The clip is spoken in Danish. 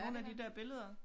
Nogle af de der billeder